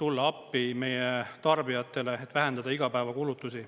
tulla appi meie tarbijatele, et vähendada igapäevakulutusi.